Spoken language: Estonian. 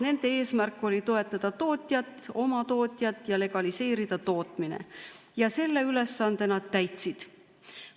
Nende eesmärk oli toetada oma tootjat ja legaliseerida tootmine ning selle ülesande nad täitsid.